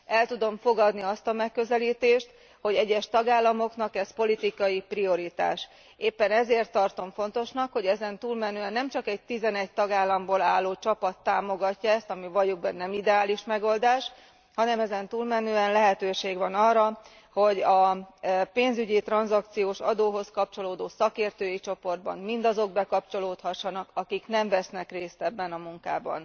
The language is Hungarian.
El tudom fogadni azt a megközelítést, hogy egyes tagállamoknak ez politikai prioritás, éppen ezért tartom fontosnak, hogy ezen túlmenően nem csak egy 11 tagállamból álló csapat támogatja ezt ami valljuk be nem ideális megoldás hanem ezen túlmenően lehetőség van arra, hogy a pénzügyi tranzakciós adóhoz kapcsolódó szakértői csoportba mindazok bekapcsolódhassanak, akik nem vesznek részt ebben a munkában.